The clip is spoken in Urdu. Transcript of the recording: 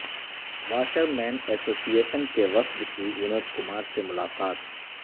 واشرمین اسوسی ایشن کے وفد کی ونود کمار سے ملاقات